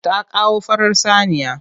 Ta kawo farar saniya.